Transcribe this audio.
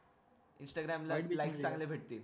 Instagram ला like चांगल्या भेटतील